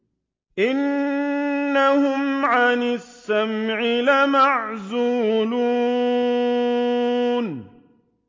إِنَّهُمْ عَنِ السَّمْعِ لَمَعْزُولُونَ